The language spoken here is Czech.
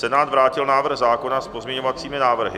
Senát vrátil návrh zákona s pozměňovacími návrhy.